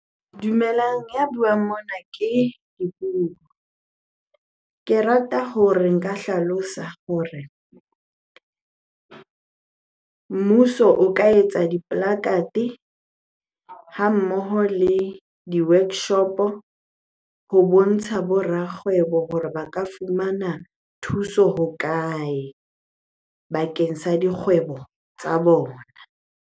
Dumelang, ya buang mona ke Dipuo. Ke rata hore nka hlalosa hore mmuso o ka etsa di ha mmoho le di-workshop-o ho bontsha bo rakgwebo hore ba ka fumana thuso hokae bakeng sa dikgwebo tsa bona?